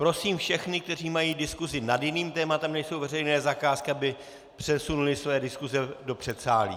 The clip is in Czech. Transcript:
Prosím všechny, kteří mají diskusi nad jiným tématem než jsou veřejné zakázky, aby přesunuli své diskuse do předsálí.